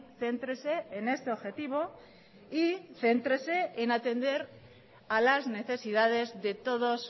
céntrese en este objetivo y céntrese en atender a las necesidades de todos